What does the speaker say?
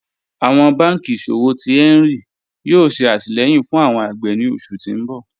Awọn bànkí iṣọ̀wọ̀ tí Hẹnri yóò ṣè àtìlẹ̀yìn fún awọn agbè ni oṣù ti ǹ bọ̀